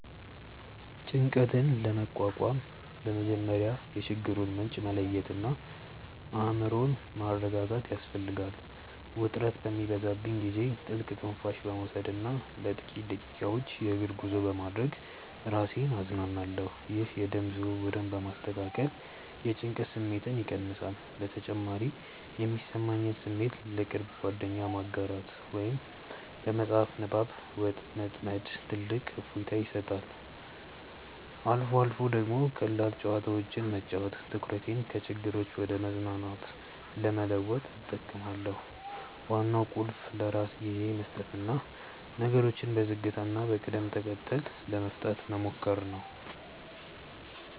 ጭንቀትን ለመቋቋም በመጀመሪያ የችግሩን ምንጭ መለየትና አእምሮን ማረጋጋት ያስፈልጋል። ውጥረት በሚበዛብኝ ጊዜ ጥልቅ ትንፋሽ በመውሰድና ለጥቂት ደቂቃዎች የእግር ጉዞ በማድረግ ራሴን አዝናናለሁ። ይህ የደም ዝውውርን በማስተካከል የጭንቀት ስሜትን ይቀንሳል። በተጨማሪም የሚሰማኝን ስሜት ለቅርብ ጓደኛ ማጋራት ወይም በመጽሐፍ ንባብ መጥመድ ትልቅ እፎይታ ይሰጣል። አልፎ አልፎ ደግሞ ቀላል ጨዋታዎችን መጫወት ትኩረቴን ከችግሮች ወደ መዝናናት ለመለወጥ እጠቀማለሁ። ዋናው ቁልፍ ለራስ ጊዜ መስጠትና ነገሮችን በዝግታና በቅደም ተከተል ለመፍታት መሞከር ነው።